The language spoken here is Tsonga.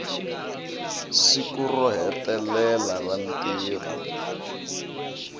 siku ro hetelela ra ntirho